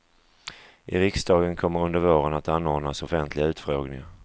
I riksdagen kommer under våren att anordnas offentliga utfrågningar.